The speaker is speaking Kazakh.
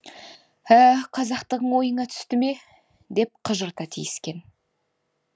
ә қазақтығың ойыңа түсті ме деп қыжырта тиіскен